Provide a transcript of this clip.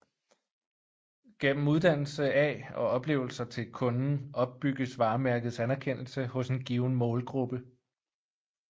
Gennem uddannelse af og oplevelser til kunden opbygges varemærkets anerkendelse hos en given målgruppe